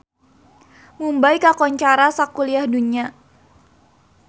Mumbay kakoncara sakuliah dunya